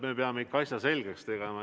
Me peame ikka asja selgeks tegema.